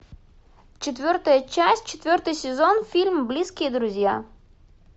четвертая часть четвертый сезон фильм близкие друзья